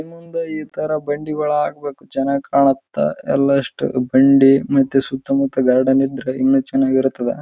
ಮುಂದೆ ಈ ತರ ಈ ಬಂಡಿಗಳು ಹಾಕ್ಬೇಕು ಚೆನ್ನಾಗಿ ಕಾಣತ್ತ ಎಲ್ಲ ಇಷ್ಟು ಬಂಡಿ ಮತ್ತೆ ಸುತ್ತಮುತ್ತ ಗಾರ್ಡನ್ ಇದ್ರೆ ತುಂಬಾ ಚೆನ್ನಾಗಿರುತ್ತದೆ.